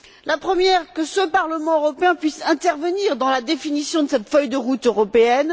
La première que ce Parlement européen puisse intervenir dans la définition de cette feuille de route européenne.